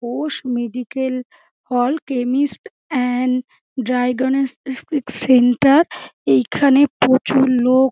Ghosh medical hall chemist and diagnostic centre এইখানে প্রচুর লোক--